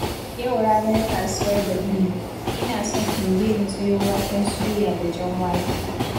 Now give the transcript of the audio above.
Yau ranar kasuwar Badime, ina son in je na sayo waken soya da jan wake.